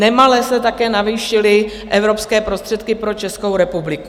Nemale se také navýšily evropské prostředky pro Českou republiku.